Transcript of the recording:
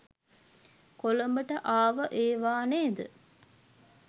කොළඹට ආව ඒවා නේද?